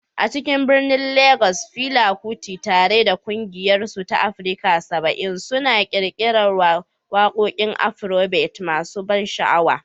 A cikin birnin Legas, Fela Kuti, tare da ƙungiyarsa ta Africa 70, suna ƙirƙirar waƙoƙin Afrobeat masu ban sha'awa.